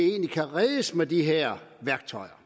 kan reddes med de her værktøjer